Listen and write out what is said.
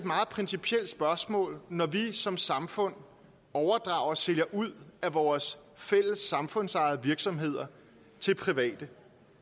meget principielt spørgsmål når vi som samfund overdrager og sælger ud af vores fælles samfundsejede virksomheder til private